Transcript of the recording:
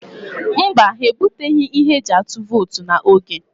Mba, ha ebuteghị ihe eji atụ vootu n'oge.